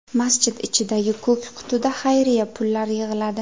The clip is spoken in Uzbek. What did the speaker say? Masjid ichidagi ko‘k qutida xayriya pullari yig‘iladi.